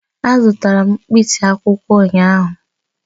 Azụtara m mkpịsị akwụkwọ ụnyahụ